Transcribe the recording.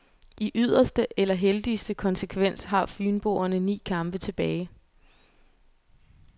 I yderste, eller heldigste, konsekvens har fynboerne ni kampe tilbage.